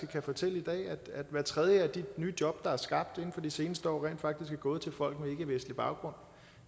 kan fortælle at hver tredje af de nye job der er skabt inden for de seneste år rent faktisk er gået til folk med ikkevestlig baggrund